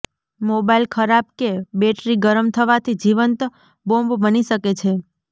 mobile ખરાબ કે battery ગરમ થવાથી જીવંત બોમ્બ બની શકે છે